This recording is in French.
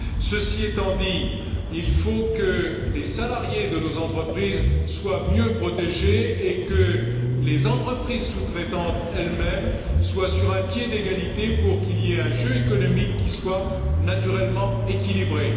Cela étant dit, il faut que les salariés de nos entreprises soient mieux protégés et que les entreprises sous traitantes elles mêmes soient sur un pied d'égalité pour qu'il y ait un jeu économique naturellement équilibré.